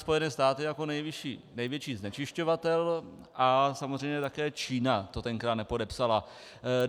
Spojené státy jako největší znečišťovatel, a samozřejmě také Čína to tenkrát nepodepsala.